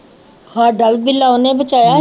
ਸਾਡਾ ਵੀ ਬਿੱਲਾ ਉਹਨੇ ਬਚਾਇਆ।